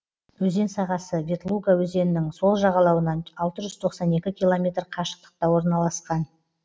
өзен сағасы ветлуга өзенінің сол жағалауынан алты жүз тоқсан екі километр қашықтықта орналасқан